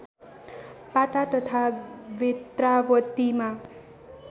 पाटा तथा बेत्रावतीमा